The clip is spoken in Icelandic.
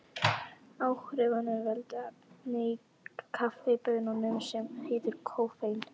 Áhrifunum veldur efni í kaffibaununum sem heitir koffein.